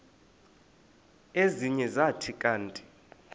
ezinye zathi kanti